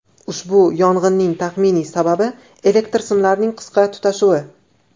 Ushbu yong‘inning taxminiy sababi elektr simlarining qisqa tutashuvi.